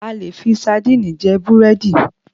A lè fii saandíìnì je Búrẹ́dì